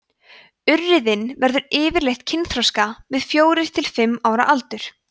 urriðinn verður yfirleitt kynþroska við fjórir til fimm ára aldur